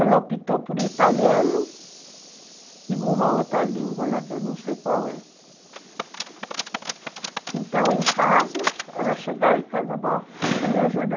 Ela optou por italiano e uma outra língua lá que eu não sei qual é. Então, em casa, ela chegava em casa, vó, você me ajuda?